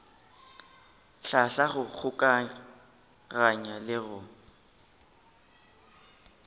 hlahla go kgokaganya le go